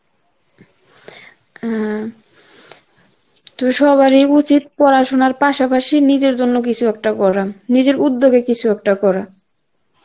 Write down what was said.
হ্যাঁ, তো সবারই উচিত পড়াশোনার পাশাপাশি নিজের জন্য কিছু একটা করা, নিজের উদ্যোগে কিছু একটা করা